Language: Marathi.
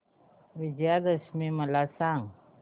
विजयादशमी मला सांग